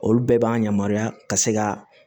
Olu bɛɛ b'an yamaruya ka se ka